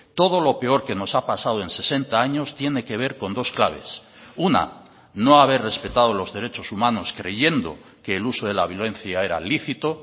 todo lo peor que nos ha pasado en sesenta años tiene que ver con dos claves una no haber respetado los derechos humanos creyendo que el uso de la violencia era lícito